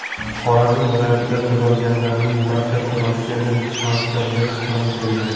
Xorazm viloyatida tuzalganlarning barchasi Rossiyadan charter reys bilan kelgan.